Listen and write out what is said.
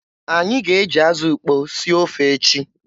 Anyị ga-eji azụ ukpo sie ofe echi.